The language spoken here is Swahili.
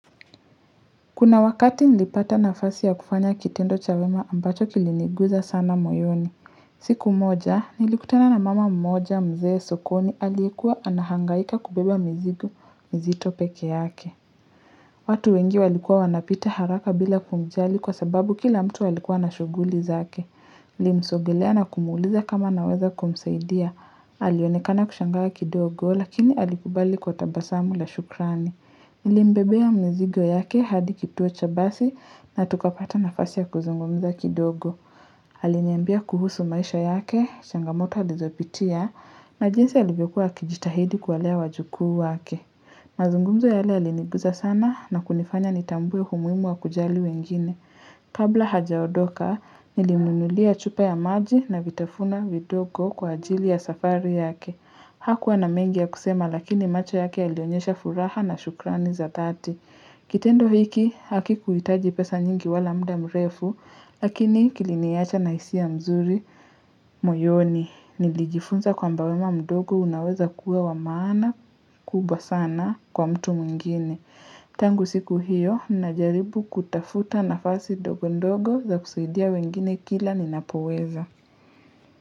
Kuna wakati nilipata nafasi ya kufanya kitendo cha wema ambacho kiliniguza sana moyoni. Siku moja, nilikutana na mama mmoja mzee sokoni aliyekuwa anahangaika kubeba mzigo mzito peke yake. Watu wengi walikuwa wanapita haraka bila kumjali kwa sababu kila mtu alikuwa na shuguli zake. Nilimsogelea na kumuuliza kama naweza kumsaidia. Alionekana kushangaa kidogo lakini alikubali kwa tabasamu la shukrani. Nilimbebea mizigo yake hadi kituo cha basi na tukapata nafasi ya kuzungumza kidogo. Aliniambia kuhusu maisha yake, changamoto alizopitia, najinsi alivyokuwa akijitahidi kuwalea wajukuu wake. Mazungumzo yale yaliniguza sana na kunifanya nitambue umuhimu wa kujali wengine. Kabla hajaondoka, nilimnuunulia chupa ya maji na vitafuna vidogo kwa ajili ya safari yake. Hakuwa na mengi ya kusema lakini macho yake yalionyesha furaha na shukrani za thati. Kitendo hiki haki kuitaji pesa nyingi wala muda mrefu, lakini kiliniacha na hisia mzuri moyoni. Nilijifunza kwamba wema mdogo unaweza kuwa wa maana kubwa sana kwa mtu mwingine. Tangu siku hiyo, najaribu kutafuta nafasi ndogondogo za kusaidia wengine kila ninapoweza.